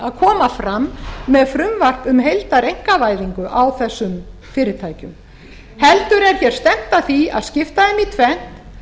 að koma fram með frumvarp um heildareinkavæðingu á þessum fyrirtækjum heldur er stefnt að því að skipta þeim í tvennt